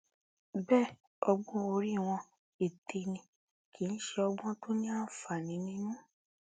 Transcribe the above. bẹẹ ọgbọn orí wọn ète ni kì í ṣe ọgbọn tó ní àǹfààní nínú